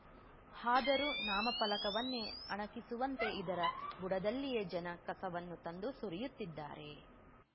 ಆದರೂ ನಾಮಫಲಕವನ್ನೇ ಅಣಕಿಸುವಂತೆ ಇದರ ಬುಡದಲ್ಲಿಯೇ ಜನ ಕಸವನ್ನು ತಂದು ಸುರಿಯುತ್ತಿದ್ದಾರೆ